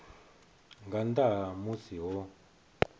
nga nnḓa ha musi ho